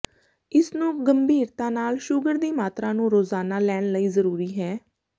ਇਸ ਨੂੰ ਗੰਭੀਰਤਾ ਨਾਲ ਸ਼ੂਗਰ ਦੀ ਮਾਤਰਾ ਨੂੰ ਰੋਜ਼ਾਨਾ ਲੈਣ ਲਈ ਜ਼ਰੂਰੀ ਹੈ